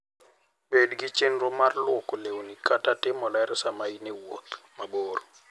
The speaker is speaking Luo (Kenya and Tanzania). Bed gi chenro mar lwoko lewni kata timo ler sama in e wuoth mabor.